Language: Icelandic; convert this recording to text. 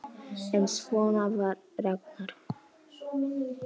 En svona var Ragnar.